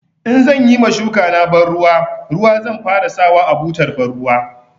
In zan yi ma shukana banruwa ruwa zan fara sawa a butar banruwa.